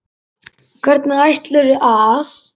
Hvernig ætlarðu að.?